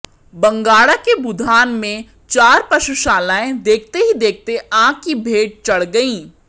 बंगाणा के बुधान में चार पशुशालाएं देखते ही देखते आग की भेंट चढ़ गईं